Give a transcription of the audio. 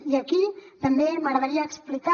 i aquí també m’agradaria explicar